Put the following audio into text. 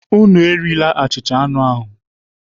Unu erila achịcha anụ ahụ!